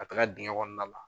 Ka taga dingɛ kɔnɔna la